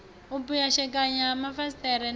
u pwashekana ha mafasiṱere na